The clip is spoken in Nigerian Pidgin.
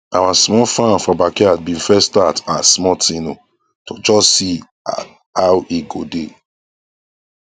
our small farm for backyard been first start as small thing oo to just see how e go dae